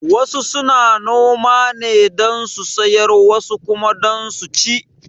Wasu suna noma ne don su siyar wasu kuma don su ci